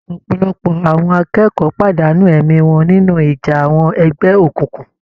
Ọ̀pọ̀lọpọ̀ àwọn akẹ́kọ̀ọ́ pàdánù ẹ̀mí wọn nínú ìjà àwọn ẹgbẹ́ òkùnkùn.